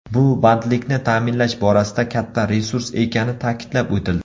Bu bandlikni ta’minlash borasida katta resurs ekani ta’kidlab o‘tildi.